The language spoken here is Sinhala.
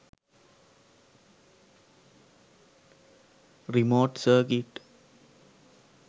remote circuit